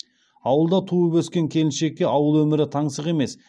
ауылда туып өскен келіншекке ауыл өмірі таңсық емес